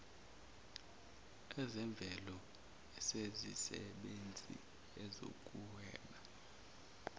ezemvelo ezemisebenzi ezokuhweba